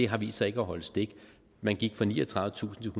har vist sig ikke at holde stik man gik fra niogtredivetusind